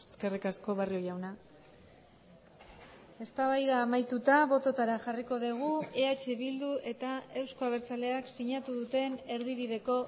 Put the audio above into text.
eskerrik asko barrio jauna eztabaida amaituta bototara jarriko dugu eh bildu eta euzko abertzaleak sinatu duten erdibideko